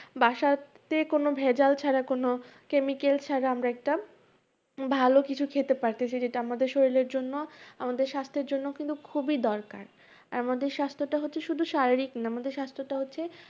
বাসাতে কোনো ভেজাল ছাড়া কোনো chemical ছাড়া আমরা একটা ভালো কিছু খেতে পারতেছি যেটা আমাদের শরীরের জন্য আমাদের স্বাস্থ্যের জন্য কিন্তু খুবই দরকার। আর আমাদের স্বাস্থ্যটা হচ্ছে শুধু শারীরিক নাহ, আমাদের স্বাস্থ্যটা হচ্ছে,